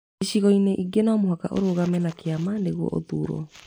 Ĩcigoinĩ ingĩ no mũhaka ũrũgame na kĩama nĩguo ũthurwo